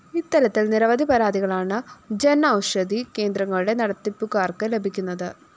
ഇത്തരത്തില്‍ നിരവധി പരാതികളാണ് ജന്‍ഔഷധി കേന്ദ്രങ്ങളുടെ നടത്തിപ്പുകാര്‍ക്ക് ലഭിക്കുന്നത്